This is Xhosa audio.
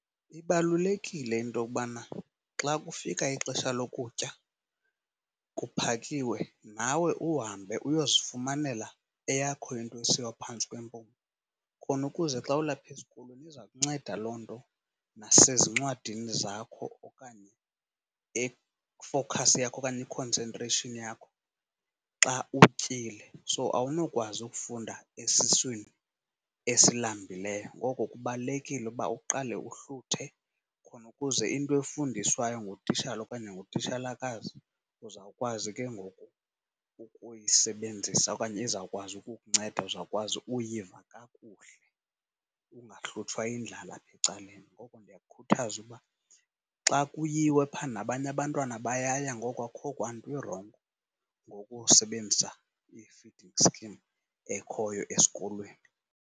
Ibalulekile into yokubana xa kufika ixesha lokutya kuphakiwe, nawe uhambe uyozifumanela eyakho into esiwa phantsi kwempumlo. Khona ukuze xa ulapha esikolweni iza kunceda loo nto nasezincwadini zakho okanye kwifowukhasi yakho okanye i-concentration yakho xa utyile. So, awunokwazi ukufunda esiswini esilambileyo ngoko kubalulekile ukuba uqale uhluthe khona ukuze into efundiswayo ngutitshala okanye ngutitshalakazi uzawukwazi ke ngoku ukuyisebenzisa okanye izawukwazi ukukunceda, uzawukwazi ukuyiva kakuhle ungahlutshwa yindlala apha ecaleni. Ngoko ndiyakukhuthaza ukuba xa kuyiwe phaa, nabanye abantwana bayaya ngoko akukho kwanto irongo ngokusebenzisa i-feeding scheme ekhoyo esikolweni.